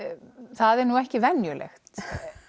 það er nú ekki venjulegt